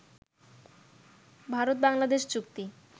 ভারত-বাংলাদেশ চুক্তি